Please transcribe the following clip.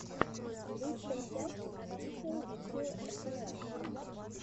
лучшая часть офишиал видео эсэлэр